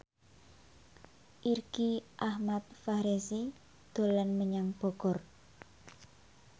Irgi Ahmad Fahrezi dolan menyang Bogor